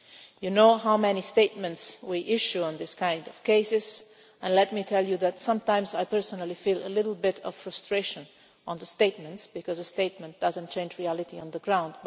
You know how many statements we issue on this kind of cases and let me tell you that sometimes I personally feel a little bit of frustration about the statements because a statement does not change reality on the ground.